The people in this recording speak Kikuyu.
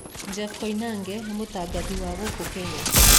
Jeff Koinange nĩ mũtangathi wa gũkũ Kenya